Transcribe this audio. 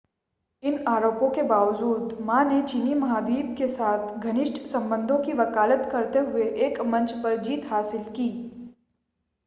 इन आरोपों के बावजूद मा ने चीनी महाद्वीप के साथ घनिष्ठ संबंधों की वकालत करते हुए एक मंच पर जीत हासिल की